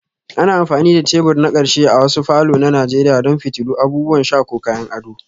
Ana amfani da tebur na ƙarshe a wasu falor na nigeria don fitilu, abubuwan sha ko kayan ado